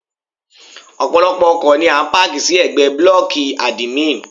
Ọ̀pọ̀lọ́pọ̀ ọkọ̀ ni a páàkì sí ẹ̀gbẹ́ blọ́ọ̀kì àdìmín.